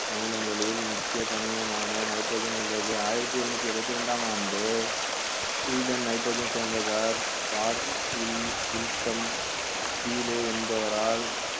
அமிலங்களில் முக்கிய கனிமமான nitrogen உள்ளது ஆயிரத்தி எழுநூத்தி எழுபத்தி இரண்டாம் ஆண்டு ஸ்வீடன் nitrogen சேர்ந்த கீழே என்பவரால்